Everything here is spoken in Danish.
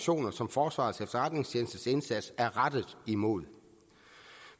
som forsvarets efterretningstjenestes indsats er rettet imod